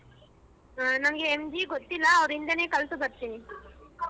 ಹ ನಂಗೆ MG ಗೊತ್ತಿಲ್ಲ ಅವರಿಂದನೇ ಕಲಸು ಬರ್ತೀನಿ.